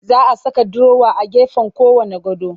Za a saka durowa a gefen kowanne gado